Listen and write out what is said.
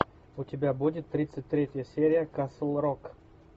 у тебя будет тридцать третья серия касл рок